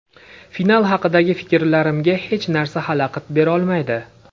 Final haqidagi fikrlarimga hech narsa xalaqit berolmaydi.